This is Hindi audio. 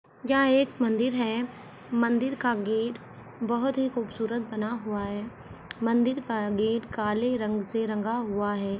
यहां एक मंदिर हैं मंदिर का गेट बहुत ही खूबसूरत बना हुआ हैं मंदिर का गेट काले रंग से रंगा हुआ हैं।